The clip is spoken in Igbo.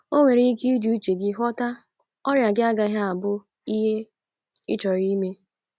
O nwere ike iji uche gị ghọta ọrịa gị agaghi abu ie i chorọ ime